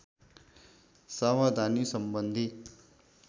सावधानी सम्बन्धी